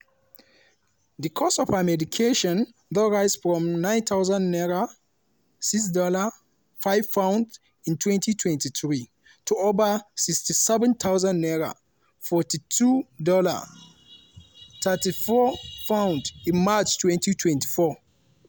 di cost of her medication don rise from 9000 naira ($6/£5) in may 2023 to over 67000 naira ($42/£34) in march 2024.